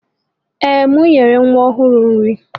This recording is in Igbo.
Ee, m nyere nwa ọhụrụ nri.